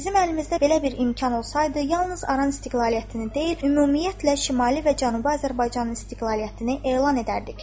Bizim əlimizdə belə bir imkan olsaydı, yalnız Aran istiqlaliyyətini deyil, ümumiyyətlə Şimali və Cənubi Azərbaycanın istiqlaliyyətini elan edərdik.